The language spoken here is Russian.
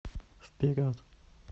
вперед